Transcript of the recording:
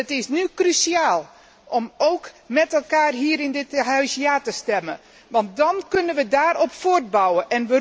Het is nu cruciaal om met elkaar hier in dit Huis 'ja' te stemmen, want dan kunnen we daarop voortbouwen.